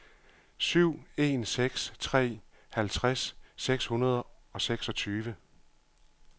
syv en seks tre halvtreds seks hundrede og seksogtyve